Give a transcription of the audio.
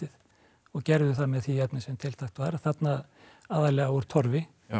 og gerðu það með því efni sem tiltækt var þarna aðallega úr Torfi